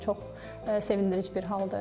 Bu çox sevindirici bir haldır.